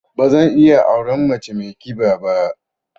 Ba zan iya auren mace mai ƙiba ba.